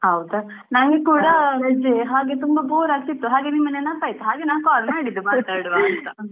ಹೌದ ನಂಕೂಡ ರಜೆ ಹಾಗೆ ತುಂಬಾ bore ಆಗ್ತಿತು ಹಾಗೆ ನಿಮ್ಮ ನೆನಪಾಯಿತು ಹಾಗೆ ನಾ call ಮಾತಾಡುವಂತ.